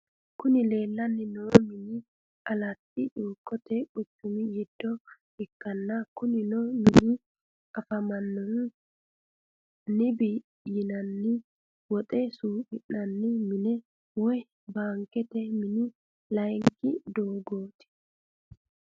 Kuni leleanno mini alatti chukote quchumi gido ikana kunino mini afamanohu nibi yinani wotte suqqinanni mine woy bankete mini layinki dogotati.